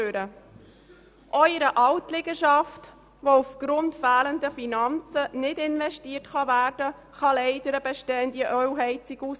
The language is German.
Auch in einer Altliegenschaft, in die aufgrund fehlender Finanzen nicht investiert werden kann, fällt leider manchmal eine bestehende Ölheizung aus.